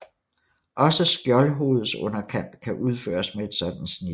Også skjoldhovedets underkant kan udføres med et sådant snit